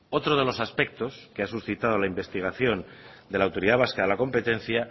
otro de los aspectos que ha suscitado la investigación de la autoridad vasca de la competencia